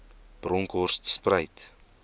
bronkhortspruit